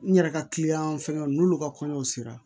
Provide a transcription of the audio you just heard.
N yɛrɛ ka kiliyan fɛngɛw n'olu ka kɔɲɔw sera